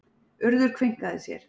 Urður kveinkaði sér.